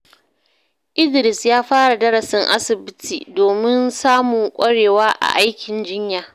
Idris ya fara darasin asibiti domin samun ƙwarewa a aikin jinya.